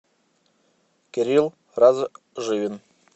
кирилл разживин